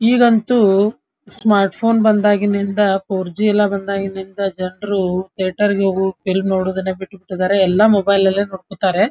ಈಗಂತೂ smart phone ಬಂದಾಗಿರ್ದಿಂದ four G ಎಲ್ಲ ಬಂದಾಗಿಂದ ಥೇಟರ್ ಗೆ ಹೋಗಿ ಫಿಲಂ ನೊಂದುದನ್ನೇ ಬಿಟ್ಬಿಟ್ಟಿದಾರೆ ಎಲ್ಲ ಮೊಬೈಲ್ ಅಲ್ಲೇ ನೋಡ್ಕೋತಾರೆ.